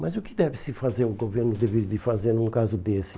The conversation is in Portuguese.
Mas o que deve-se fazer, o governo deveria fazer num caso desse?